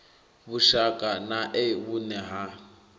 vhushaka na e vhune ha